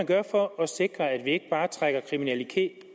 gøre for at sikre at vi ikke bare trækker